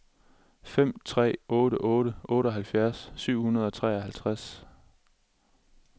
fem tre otte otte otteoghalvfjerds syv hundrede og treoghalvtreds